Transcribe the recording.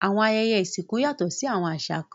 Awọn ayẹyẹ isinku yatọ ni awọn àṣà kan